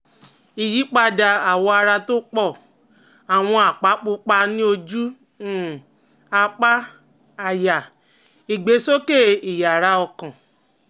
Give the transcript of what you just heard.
Ìyípadà àwọ̀ ara tó pọ̀, àwọn àpá pupa ní ojú, um apá, àyà, ìgbésókè ìyára ọkàn